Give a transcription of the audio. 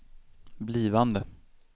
blivande